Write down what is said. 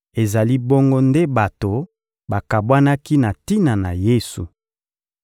Ezali bongo nde bato bakabwanaki na tina na Yesu.